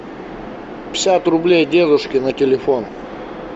пятьдесят рублей дедушке на телефон